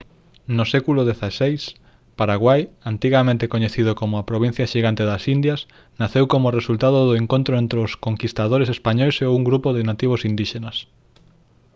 no século xvi paraguai antigamente coñecido como «a provincia xigante das indias» naceu como resultado do encontro entre os conquistadores españois e os grupos de nativos indíxenas